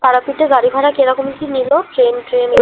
তারাপীঠে গাড়িভাড়া কিরকম মি নিলো? train train